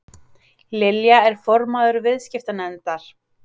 Lilja er formaður viðskiptanefndar